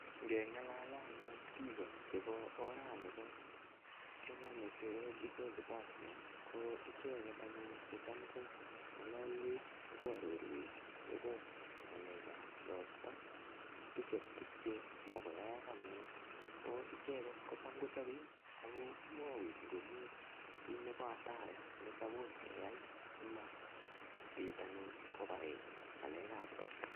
Ngeng'alale anyun biiko chebo oranibo Kenya Meteorological Department, ko icheket anyun checham ko ng'alalwech akoarorwech akobo ng'alekap ropta, ak tuche tuk che imuch koayaek anyun. Ko icheket kocham kochape, akomwaiwech ngomii kiy nebo hatari ne suppose keyai, asimabit anyun kobarech ng'alekap ropta.